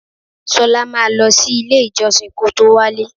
Ṣolá máa lọ sí ilé-ìjọsìn kó tó wálé.